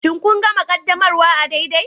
Shin kun gama ƙaddamarwa daidai?